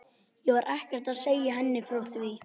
Ég var ekkert að segja henni frá því.